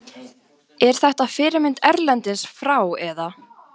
Er þetta fyrirmynd erlendis frá eða?